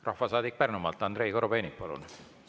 Rahvasaadik Pärnumaalt, Andrei Korobeinik, palun!